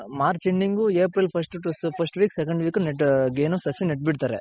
March Ending April first first week second week ಏನು ಸಸಿ ನೆಟ್ ಬಿಡ್ತಾರೆ.